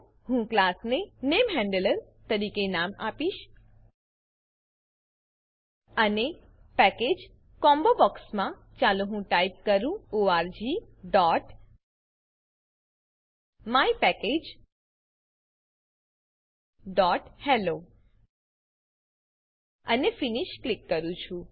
હું ક્લાસને નેમહેન્ડલર તરીકે નામ આપીશ અને પેકેજ કોમ્બોબોક્સ કોમ્બોબોક્સમાં ચાલો હું ટાઈપ કરું orgmypackageહેલ્લો અને ફિનિશ ક્લિક કરું છું